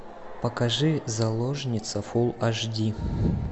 покажи заложница фулл аш ди